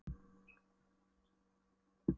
Nú skulum við færa fánastöngina fram um tuttugu metra.